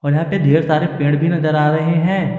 यहां पे ढेर सारे पेड़ भी नजर आ रहे हैं।